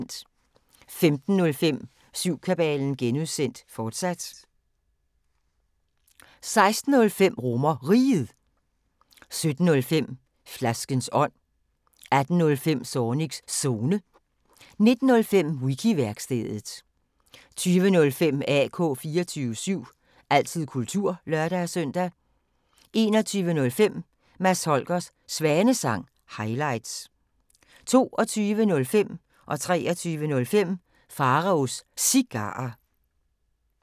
15:05: Syvkabalen (G), fortsat 16:05: RomerRiget 17:05: Flaskens ånd 18:05: Zornigs Zone 19:05: Wiki-værkstedet 20:05: AK 24syv – altid kultur (lør-søn) 21:05: Mads Holgers Svanesang – highlights 22:05: Pharaos Cigarer 23:05: Pharaos Cigarer